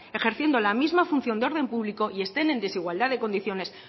ejerciendo la misa función de orden público y estén en desigualdad de condiciones